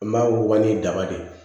N b'a wuguba ni daba de ye